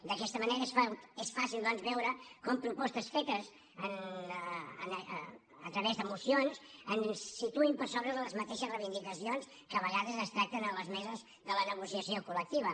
d’aquesta manera és fàcil doncs veure com propostes fetes a través de mocions ens situïn per sobre de les mateixes reivindicacions que a vegades es tracten a les meses de la negociació col·lectiva